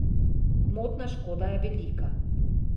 Gmotna škoda je velika.